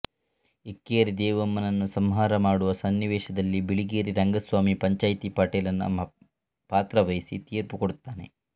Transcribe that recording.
ಇಕ್ಕೇರಿ ದೇವಮ್ಮನನ್ನು ಸಂಹಾರ ಮಾಡುವ ಸನ್ನಿವೇಶದಲ್ಲಿ ಬಿಳಿಗಿರಿ ರಂಗಸ್ವಾಮಿ ಪಂಚಾಯ್ತಿ ಪಟೇಲನ ಪಾತ್ರವಹಿಸಿ ತೀರ್ಪು ಕೊಡುತ್ತಾನೆ